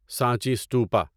Sanchi stupa